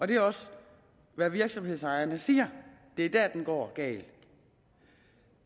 det er også hvad virksomhedsejerne siger det er der det går galt